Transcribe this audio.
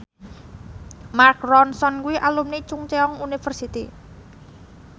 Mark Ronson kuwi alumni Chungceong University